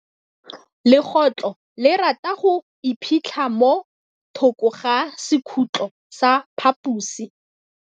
Legôtlô le rata go iphitlha mo thokô ga sekhutlo sa phaposi.